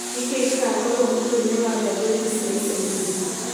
Nĩ kĩĩ gĩgakorũo mũtwe-inĩ wa ngathĩti ya ica ikuhĩ?